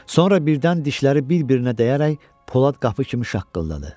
Sonra birdən dişləri bir-birinə dəyərək polad qapı kimi şaqqıldadı.